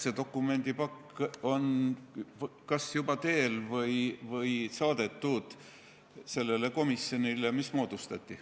See dokumendipakk on kas juba teel või saadetud sellele komisjonile, mis moodustati.